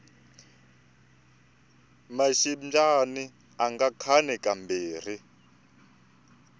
maxindyani anga khani ka mbirhi